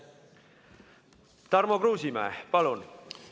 Tarmo Kruusimäe, palun!